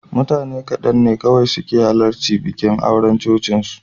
Mutane kaɗan ne kawai suka halarci bikin auren cocinsu.